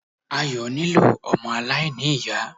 Ayọ̀ nílò ọmọ aláìní-Ìyá.